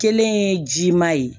Kelen ye ji ma ye